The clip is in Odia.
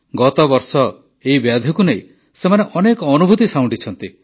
ଗତବର୍ଷ ଏହି ବ୍ୟାଧିକୁ ନେଇ ସେମାନେ ଅନେକ ଅନୁଭୂତି ସାଉଁଟିଛନ୍ତି